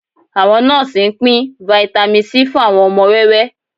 Àwọn nọ́ọ́sì ń pín Vitamin C fún àwọn ọmọ wẹ́wẹ́